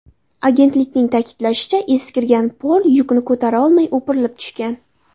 Agentlikning ta’kidlashicha, eskirgan pol yukni ko‘tara olmay o‘pirilib tushgan.